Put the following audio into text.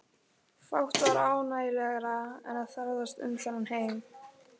Fátt var ánægjulegra en að ferðast um þennan heim.